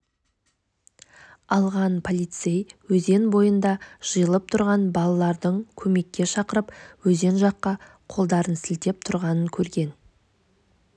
алған полицей өзен бойында жиылып тұрған балалардың көмекке шақырып өзен жаққа қолдарын сілтеп тұрғанын көрген